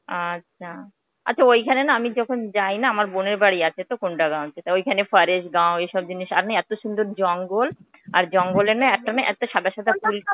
আচ্ছা. আচ্ছা, ঐখানে না আমি যখন যাই না আমার বোনের বাড়ি আছেতো ওখানে forest গাও এসব জিনিস আমি এতো সুন্দর জঙ্গল আর জঙ্গলে না একটা না একটা না সাদা সাদা ফুল